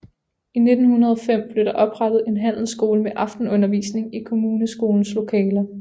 I 1905 blev der oprettet en handelsskole med aftenundervisning i kommuneskolens lokaler